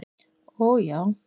og já.